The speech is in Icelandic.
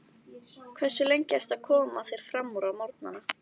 Hversu lengi ertu að koma þér framúr á morgnanna?